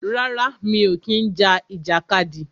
Rárá, mi ò kí ń ja ìjàkadì.